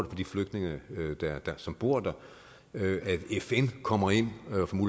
de flygtninge som bor der ved at fn kommer ind